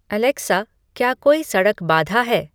Alexa क्या कोई सड़क बाधा है